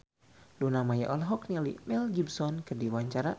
Luna Maya olohok ningali Mel Gibson keur diwawancara